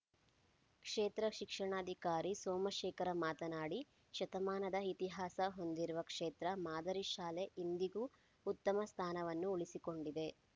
ಕ್ಷೇತ್ರ ಶಿಕ್ಷಣಾಧಿಕಾರಿ ಸೋಮಶೇಖರ ಮಾತನಾಡಿ ಶತಮಾನದ ಇತಿಹಾಸ ಹೊಂದಿರುವ ಕ್ಷೇತ್ರ ಮಾದರಿ ಶಾಲೆ ಇಂದಿಗೂ ಉತ್ತಮ ಸ್ಥಾನವನ್ನು ಉಳಿಸಿಕೊಂಡಿದೆ